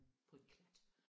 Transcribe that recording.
På et klat